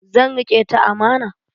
Zan riƙe ta amana.